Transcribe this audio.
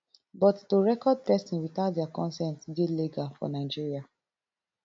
but to record pesin without dia consent dey legal for nigeria